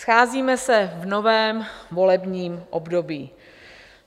Scházíme se v novém volebním období.